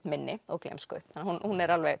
minni og gleymsku